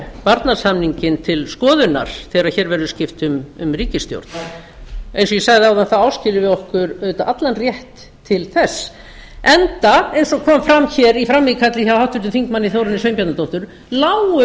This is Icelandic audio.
varnarsamninginn til skoðunar þegar hér verður skipt um ríkisstjórn eins og ég sagði áðan áskiljum við okkur auðvitað allan rétt til þess enda eins og kom fram hér í frammíkalli hjá háttvirtum þingmanni þórunni sveinbjarnardóttur lágu